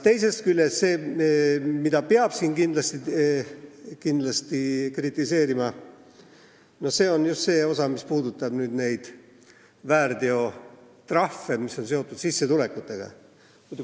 Teisest küljest, kindlasti peab kritiseerima seda osa, mis puudutab sissetulekutega seotud väärteotrahve.